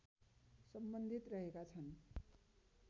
सम्बन्धित रहेका छन्